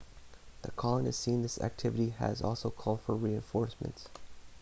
the colonists seeing this activity had also called for reinforcements